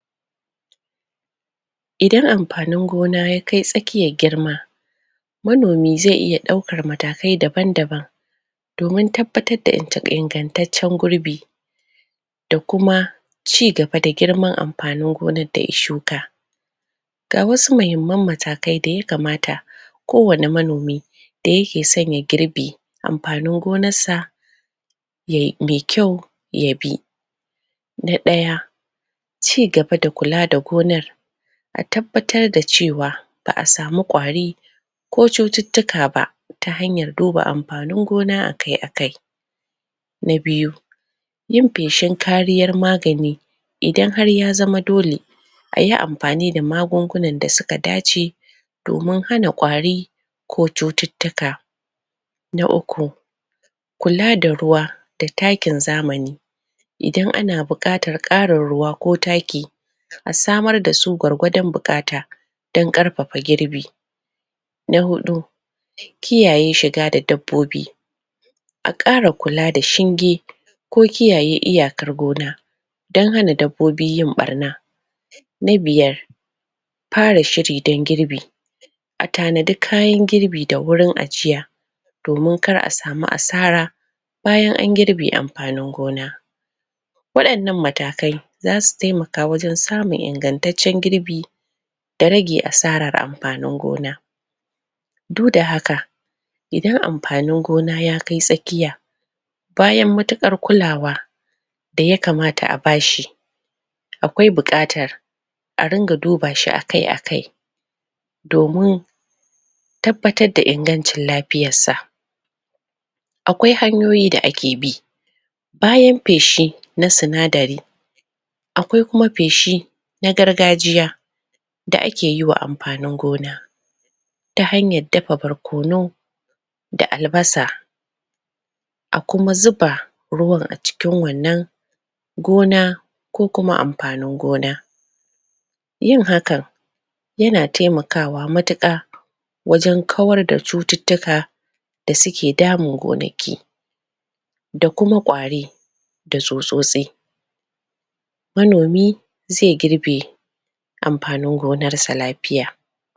Idan amfanin gona ya kai tsakkiyar girma manomi zai iya daukar matakai daban baban domin tabbatar da ingantaccen gurbi da kuma cigaba da girman amfanin gonar daya shuka ga wasu mahimman matakai daya kamata kowane manomi da yake son ya girbe amfanin gonar sa me kyau ya bi na daya cigaba da kula da gonar a tabbatar da cewa ba'a samu kwari ko chututtuka ba ta hanyar duba amfanin gona akai akai na biyu yin feshin kariyar magani idan har ya zama dole ayi amfani da magungunan da suka dace domin hana kwari ko chututtika na ukku kula da ruwa da takin zamani idan ana bukatar karin ruwa ko taki a samar dasu gwargwadon bukata don karfafa girbi na hudu kiyaye shiga da dabbobi a kara kula da shinge ko kiyaye iyakar gona don hana dabbobi yin barna na biyar fara shiri don girbi a tanadi kayan girbi da wurin ajiya domin kar a samu asara bayan an gibe amfanin gona wadannan matakai zasu taimaka wajen samun ingantaccen girbi da rage asarar amfanin gona duk da haka idan amfanin gona ya kai tsakkiya bayan matukar kulawa daya kamata a bashi akwai bukatar aringa dubashi akai akai domin tabbatar da ingancin lafiyar sa akwai hanyoyi da ake bi abayan feshi na sinadari akwai kuma feshi na gargajiya da akeyi ma amfanin gona ta hanyar dafa barkono da albasa a kuma zuba ruwan acikin wannan gona ko kuma amafanin gona yin hakan yana taimakawa matuka wajen kawar da chututtika da suke damun ganaki da kuma kwari da tsutsotsi manomi zai girbe amfanin gonar sa lafiya